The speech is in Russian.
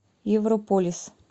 европолис